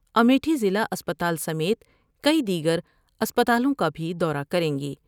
امیٹھی ضلع اسپتال سمیت کئی دیگر اسپتالوں کا بھی دورہ کر یں گی ۔